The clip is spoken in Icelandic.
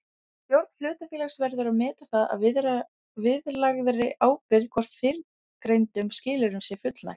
Stjórn hlutafélags verður að meta það að viðlagðri ábyrgð hvort fyrrgreindum skilyrðum sé fullnægt.